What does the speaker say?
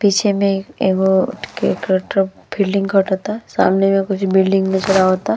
पीछे मे एगो केकेट फील्डिंग खटता। सामने मे कुछ बिल्डिंग नज़र आवता।